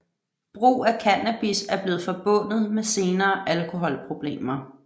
Brug af cannabis er blevet forbundet med senere alkoholproblemer